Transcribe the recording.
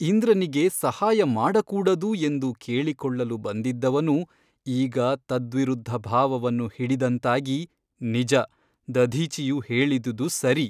ಇಂದ್ರನಿಗೆ ಸಹಾಯ ಮಾಡಕೂಡದು ಎಂದು ಕೇಳಿಕೊಳ್ಳಲು ಬಂದಿದ್ದವನು ಈಗ ತದ್ವಿರುದ್ಧ ಭಾವವನ್ನು ಹಿಡಿದಂತಾಗಿ ನಿಜ ದಧೀಚಿಯು ಹೇಳಿದುದು ಸರಿ.